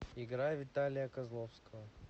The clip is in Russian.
играй виталия козловского